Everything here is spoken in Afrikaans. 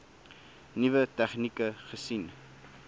nuwe tegnieke gesien